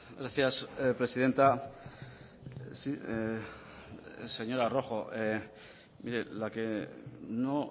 gracias presidenta señora rojo mire la que no